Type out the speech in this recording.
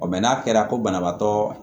n'a kɛra ko banabaatɔ